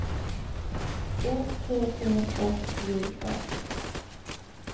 O T T S J Ö